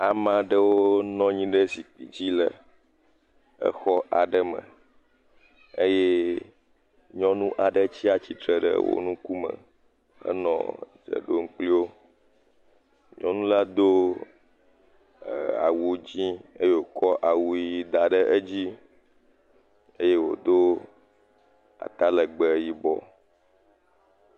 Ame aɖewo nɔ anyi ɖe zikpui dzi le exɔ aɖe me eye nyɔnu aɖe tsi atsitre ɖe wo ŋkume, enɔ dze ɖom kpliwo, nyɔnula do ee.., awu ʋi eye wòkɔ awu dzɛ̃ da ɖe edzi eye wòdo ata legbee yibɔ.